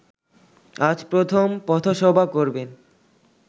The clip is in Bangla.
আজ প্রথম পথসভা করবেন